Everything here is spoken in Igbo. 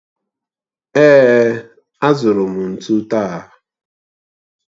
Èè, azụrụ m ntụ taa